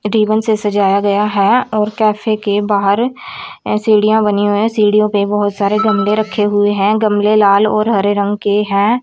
Ribbon से सजाया गया है और कैफे के बाहर सीढ़ियां बनी है सीढ़ियों पर बहोत सारे गमले रखे हुए हैं गमले लाल और हरे रंग के हैं।